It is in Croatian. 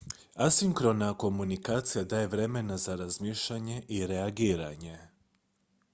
asinkrona komunikacija daje vremena za razmišljanje i reagiranje